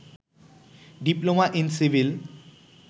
diploma in civil